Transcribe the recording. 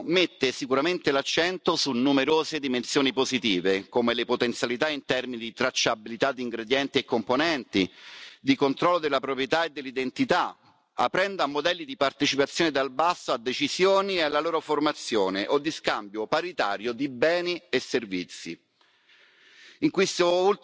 Il testo di cui oggi discutiamo mette sicuramente l'accento su numerose dimensioni positive, come le potenzialità in termini di tracciabilità di ingredienti e componenti, di controllo della proprietà e dell'identità aprendo a modelli di partecipazione dal basso a decisioni e alla loro formazione o di scambio paritario di beni e servizi.